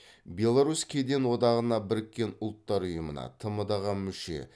беларусь кеден одағына біріккен ұлттар ұйымына тмд ға мүше